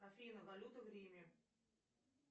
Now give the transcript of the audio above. афина валюта в риме